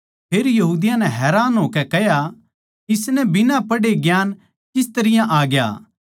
फेर यहूदियाँ नै हैरान होकै कह्या इसनै बिना पढ़े ज्ञान किस तरियां आ ग्या